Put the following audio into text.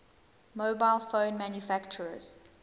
mobile phone manufacturers